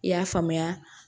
I y'a faamuya